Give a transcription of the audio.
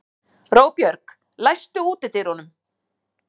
Róbjörg, læstu útidyrunum.